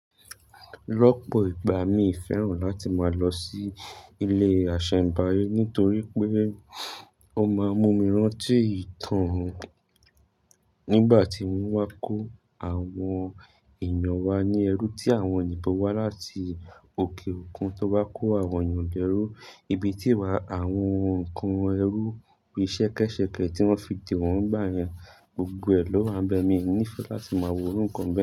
Lọ́pò ìgbà mi ò fẹ́ràn láti máa lọ sí ilé àṣẹ̀m̀báyé nítorí pé ó máa ń mú mi rántí ìtàn nígbà tí wọ́n wá kó àwọn èèyàn wa ní ẹrú tí àwọn òyìnbó wá láti òkè òkun tó wá kó àwọn èèyàn lẹ̀rú, ibi tí wà àwọn ǹkan ẹrú bí sẹ́kẹ́sẹ́kẹ́ tí wọ́n fi dè wọ́n gbà yẹn, gbogbo ẹ̀ lọ́ wà bẹ̀, mi ò ní fẹ́ láti máa wo òru ǹkọ́ bee.